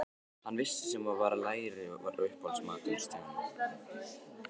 Hann vissi sem var að læri var uppáhaldsmatur Stjána.